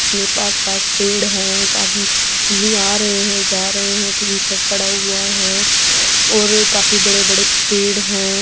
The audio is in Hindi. मे पास-पास पेड़ हैं एक आदमी आ रहे है जा रहे है टीन शेड पड़ा हुआ है और काफी बड़े-बड़े पेड़ है।